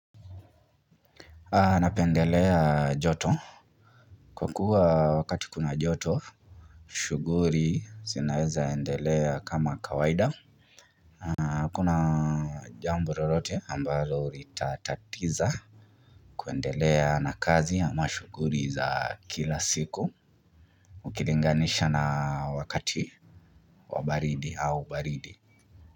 Napendelea joto. Kwa kuwa wakati kuna joto shughuli zinaweza endelea kama kawaida. Kuna jambo lolote ambalo litatatiza kuendelea na kazi ama shughuli za kila siku ukilinganisha na wakati wabaridi au baridi.